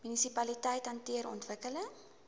munisipaliteite hanteer ontwikkeling